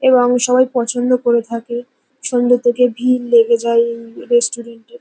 এবং সবাই পছন্দ করে থাকে। সন্ধ্যে থেকে ভিড় লেগে যায় এইইইই রেস্টুরেন্ট এ।